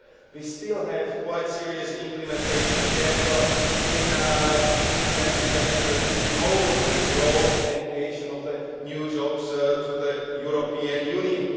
We still have quite a serious implementation gap in implementing the measures which we know will bring growth and the creation of new jobs to the European Union.